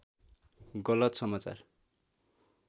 गलत समाचार